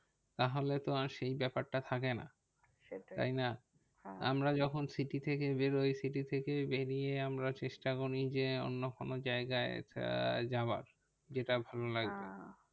তাহলে তো আর সেই ব্যাপারটা থাকে না। তাই না আমরা যখন city থেকে বেরোই city থেকে বেরিয়ে আমরা চেষ্টা করি যে অন্য কোনো জায়গায় যাওয়ার যেটা ভালো লাগবে।